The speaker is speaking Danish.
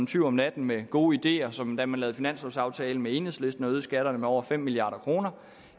tyv om natten med gode ideer som da man lavede finanslovaftale med enhedslisten og øgede skatterne med over fem milliard kroner